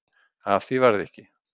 Af því varð ekki